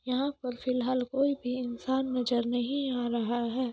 यहाँ पर फिलहाल कोई भी इंसान नजर नहीं आ रहा है।